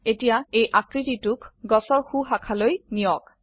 এতিয়া এই আকৃতিটোক গাছৰ সো শাখালৈ নিয়ক